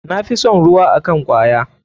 Na fi son ruwa akn kwaya.